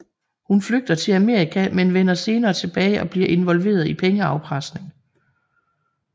Hun flygter til Amerika men vender senere tilbage og bliver involveret i pengeafpresning